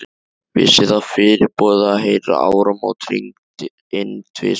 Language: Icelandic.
Vissi það fyrirboða, að heyra áramót hringd inn tvisvar.